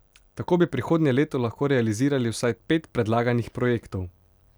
Tako bi prihodnje leto lahko realizirali vsaj pet predlaganih projektov.